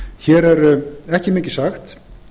hér er ekki mikið sagt